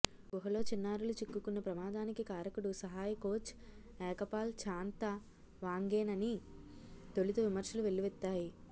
గుహలో చిన్నారులు చిక్కుకున్న ప్రమాదానికి కారకుడు సహాయకోచ్ ఎకపాల్ చాన్తవాంగేనని తొలుత విమర్శలు వెల్లువెత్తాయి